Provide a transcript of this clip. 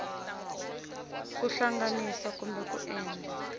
ku tihlanganisa kumbe ku endla